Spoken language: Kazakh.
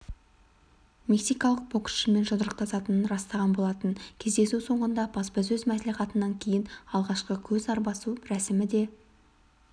мексикалық боксшымен жұдырықтасатынын растаған болатын кездесу соңындағы баспасөз мәслихатынан кейін алғашқы көз арбасу рәсімі де